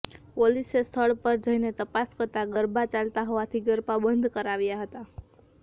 પોલીસે સ્થળ પર જઈને તપાસ કરતાં ગરબા ચાલતા હોવાથી ગરબા બંધ કરાવ્યા હતા